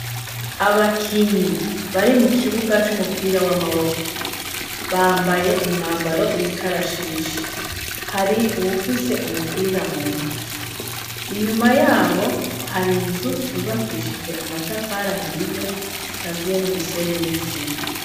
Abakinyi bari mu kibuga c'umupira w'amaboko, bambaye umwambaro w'ikarashishi. hari wufise umupira mu ntoki. Inyuma yabo hari inzu zubakishije amatafari ahiye, zikaziye n'umusenyi n'isima.